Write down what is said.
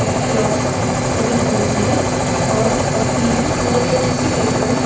clock वाली घड़ी भी है और कप भी है और एक छोटी सी टेबल --